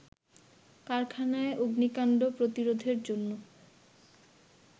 কারখানায় অগ্নিকাণ্ড প্রতিরোধের জন্য